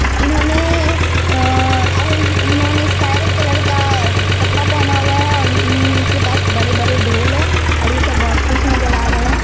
इन्होंने अ-अ-ह इन्होंने इस काय कलर का कपड़ा पहना हुआ हैं और इनके पास बड़े-बड़े ढोल हैं और ये सब बहुत खुश नजर आ रहे हैं।